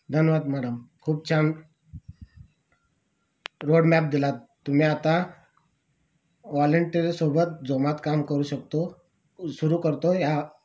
धन्यवाद मॅडम खूप छान रोड मॅप दिलात आता दिला तुम्ही आता वॉलेंटियर सोबत जोमात काम करू शकतो सुरू करतो या